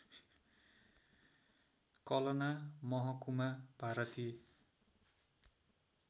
कलना महकुमा भारतीय